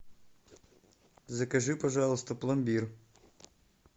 закажи пожалуйста пломбир